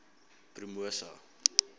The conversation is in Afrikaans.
promosa